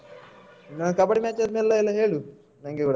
ನಿನ್ನ ಕಬ್ಬಡಿ match ಅದ್ಮೇಲೆ ಎಲ್ಲ ಹೇಳು ನಂಗೆ ಕೂಡ.